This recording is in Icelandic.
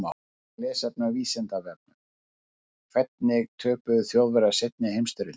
Frekara lesefni á Vísindavefnum: Hvernig töpuðu Þjóðverjar seinni heimsstyrjöldinni?